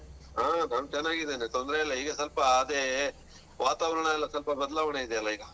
ಆ ನಾನ್ ಚೆನಾಗಿದೀನ್ ತೊಂದ್ರೆ ಇಲ್ಲ ಈಗ ಸೊಲ್ಪ ಅದೇ ವಾತಾವರಣ ಎಲ್ಲಾ ಸೊಲ್ಪ ಬದ್ಲಾವಣೆ ಇದ್ಯಲ್ಲ ಈಗ.